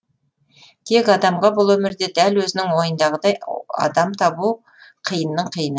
тек адамға бұл өмірде дәл өзінің ойындағыдай адам табу қиынның қиыны